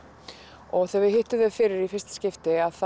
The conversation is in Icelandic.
og þegar við hittum þau fyrir í fyrsta skipti þá